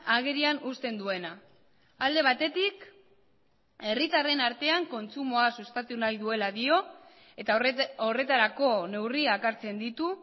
agerian uzten duena alde batetik herritarren artean kontsumoa sustatu nahi duela dio eta horretarako neurriak hartzen ditu